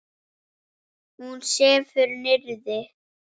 Hún sefur niðri.